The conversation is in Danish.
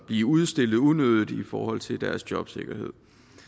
blive udstillet unødigt i forhold til deres jobsikkerhed